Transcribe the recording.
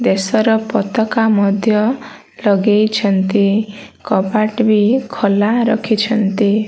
ଦେଶର ପତାକା ମଧ୍ୟ ଲଗେଇଛନ୍ତି। କବାଟବି ଖୋଲା ରଖିଛନ୍ତି।